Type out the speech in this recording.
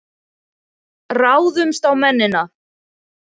Ráðumst á mennina!